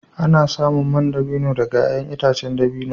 Ana samun man dabino daga ’ya’yan itacen dabino.